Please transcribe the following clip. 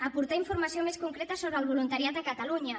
aportar informació més concreta sobre el voluntariat a catalunya